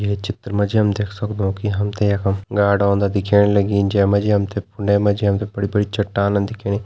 ये चित्र मा जी हम देखि सक्दो की हम तें यखम गाड ओन्दा दिखेण लगीं जै मा जी हम तें फुने मा जी हम तें बड़ी बड़ी चट्टान दिखेणी।